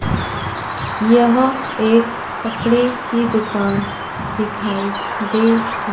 यह एक कपड़े की दुकान दिखाई दे।--